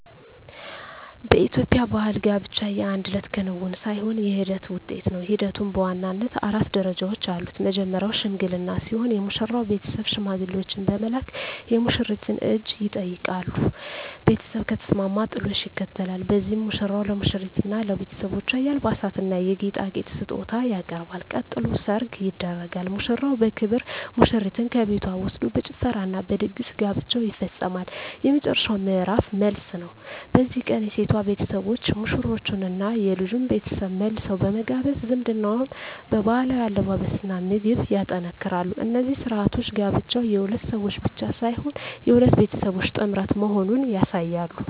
በኢትዮጵያ ባሕል ጋብቻ የአንድ እለት ክንውን ሳይሆን የሂደት ውጤት ነው። ሂደቱም በዋናነት አራት ደረጃዎች አሉት። መጀመርያው "ሽምግልና" ሲሆን፣ የሙሽራው ቤተሰብ ሽማግሌዎችን በመላክ የሙሽሪትን እጅ ይጠይቃሉ። ቤተሰብ ከተስማማ "ጥሎሽ" ይከተላል፤ በዚህም ሙሽራው ለሙሽሪትና ለቤተሰቦቿ የአልባሳትና የጌጣጌጥ ስጦታ ያቀርባል። ቀጥሎ "ሰርግ" ይደረጋል፤ ሙሽራው በክብር ሙሽሪትን ከቤቷ ወስዶ በጭፈራና በድግስ ጋብቻው ይፈጸማል። የመጨረሻው ምዕራፍ "መልስ" ነው። በዚህ ቀን የሴቷ ቤተሰቦች ሙሽሮቹንና የልጁን ቤተሰብ መልሰው በመጋበዝ ዝምድናውን በባህላዊ አለባበስና ምግብ ያጠናክራሉ። እነዚህ ሥርዓቶች ጋብቻው የሁለት ሰዎች ብቻ ሳይሆን የሁለት ቤተሰቦች ጥምረት መሆኑን ያሳያሉ።